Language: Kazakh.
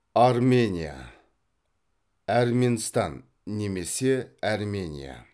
армения әрменстан немесе әрмения